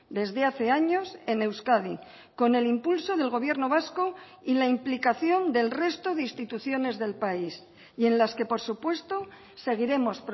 desde hace años en euskadi con el impulso del gobierno vasco y la implicación del resto de instituciones del país y en las que por supuesto seguiremos